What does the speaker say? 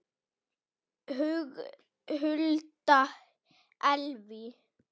Hulda Elvý.